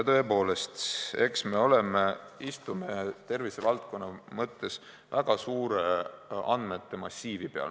Tõepoolest, eks me istume tervisevaldkonna mõttes väga suure andmemassiivi peal.